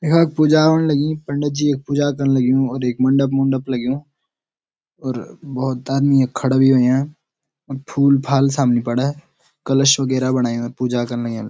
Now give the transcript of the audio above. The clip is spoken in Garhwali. यखा पूजा होण लगीं पंडत जी यख पूजा कण लग्युं और एक मंडप-मुंडप लग्युं और भोत आदमी यख खड़ा भी होयां और फूल फाल सामने पड़ा कलश वगैरा बणायु पूजा कण लग्यां।